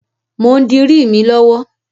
Mò ń dirí mi lọ́wọ́.